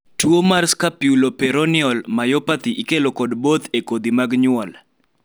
tuo mar scapuloperoneal myopathy ikelo kod both e kodhi mag nyuol